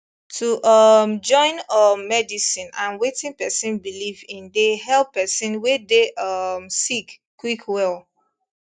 to um join um medicine and wetin pesin believe in dey help pesin wey dey um sick quick well